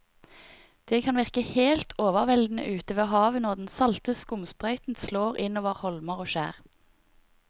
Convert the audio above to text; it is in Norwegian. Det kan virke helt overveldende ute ved havet når den salte skumsprøyten slår innover holmer og skjær.